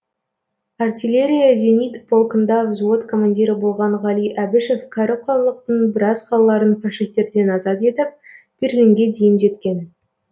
артеллерия зенит полкында взвод командирі болған ғали әбішев кәрі құрлықтың біраз қалаларын фашистерден азат етіп берлинге дейін жеткен